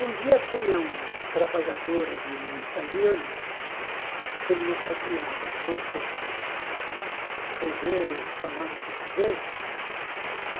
Um dia tinha um trabalhador ali, um italiano, que não sabia muito escrever ou falar o português.